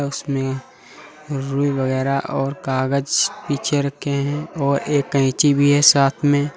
इसमें रूई वगैरा और कागज पीछे रखे हैं और एक कैंची भी है साथ में।